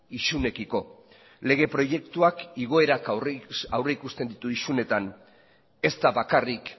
isunekiko lege proiektuak igoerak aurrikusten ditu isunetan ez da bakarrik